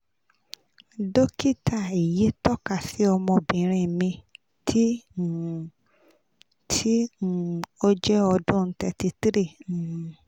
dokita eyi tọka si ọmọbinrin mi ti um ti um o jẹ ọdun thirty three